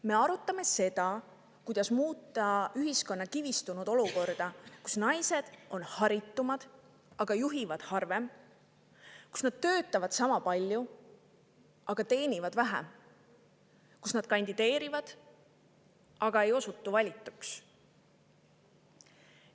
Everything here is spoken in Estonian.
Me arutame seda, kuidas muuta ühiskonnas kivistunud olukorda, kus naised on haritumad, aga juhivad harvem; töötavad sama palju, aga teenivad vähem; kandideerivad, aga ei osutu valituks.